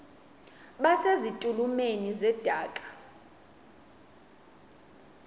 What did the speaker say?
base zitulmeni zedaka